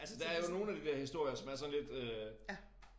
Altså der er jo nogle af de der historier som er sådan lidt øh